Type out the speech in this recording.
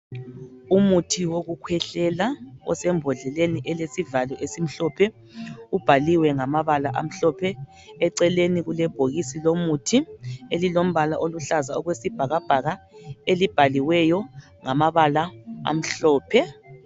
Umuthi wokukhwehlela osembodleleni elesivalo esimhlophe ibhaliwe ngamabala amhlophe eceleni kulebhokisi lomuthi elilombala oluhlaza okwesibhakabhaka elibhaliweyo ngamabala amhlophe.